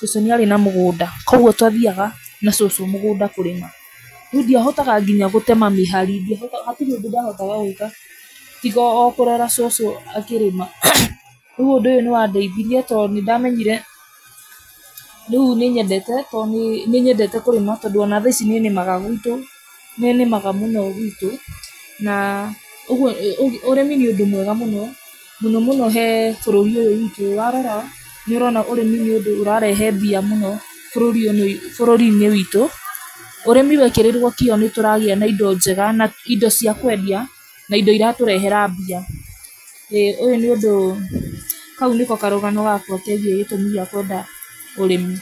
cũcũ nĩarĩ na mũgũnda, koguo twathiaga na cũcũ mũgũnda kũrĩma, nandiahotaga nginya gũtema mĩhari, hatirĩ ũndũ ndahotaga gwĩka, tiga o kũrora cũcũ akĩrĩma, koguo ũndũ ũyũ nĩwandeithirie to nĩndamenyire, rĩu nĩnyendete to nĩ nĩnyendete kũrĩma tondũ ona thaa ici nĩnĩmaga gwitũ, nĩnĩmaga mũno gwitũ, na, ũguo ũrĩmi nĩ ũndũ mwega mũno, mũno mũno he bũrũri ũyũ witũ warora, nĩũrona ũrĩmi nĩũndũ ũrarehe mbia mũno , bũrũri-inĩ bũrũri ũyũ witũ, ũrĩmi wekĩrĩrwo kĩo nĩtũragĩa na indo njega na indo cia kwendia, na indo iratũrehera mbia, ĩ ũyũ nĩũndũ, kau nĩko karũgano gakwa kegiĩ gĩtũmi gĩa kwenda ũrĩmi.